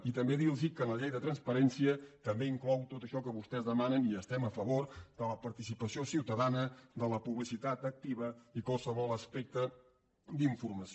i també dir los que la llei de transparència també inclou tot això que vostès demanen i hi estem a favor de la participació ciutadana de la publicitat activa i qualsevol aspecte d’informació